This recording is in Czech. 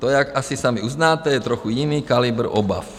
To, jak asi sami uznáte, je trochu jiný kalibr obav.